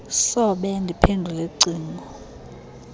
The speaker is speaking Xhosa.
sobe ndiphendule cingo